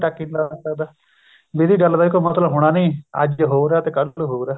ਟਾਕੀ ਨੀ ਲਾ ਸਕਦਾ ਵੀ ਇਹਦੀ ਗੱਲ ਦਾ ਕੋਈ ਮਤਲਬ ਹੋਣਾ ਨੀ ਅੱਜ ਹੋਰ ਹੈ ਤੇ ਕੱਲ ਨੂੰ ਹੋਰ ਹੈ